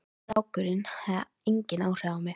Strákurinn hafði engin áhrif á mig.